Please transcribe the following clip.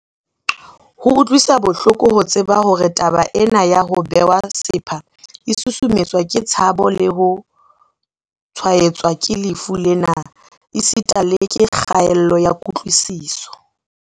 Ho utlwisa bohloko ho tseba hore taba ena ya ho bewa sepha e susumetswa ke tshabo ya ho tshwaetswa ke lefu lena esita le ke kgaello ya kutlwisiso.